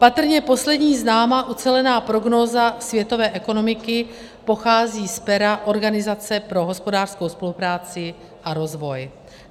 Patrně poslední známá ucelená prognóza světové ekonomiky pochází z pera Organizace pro hospodářskou spolupráci a rozvoj.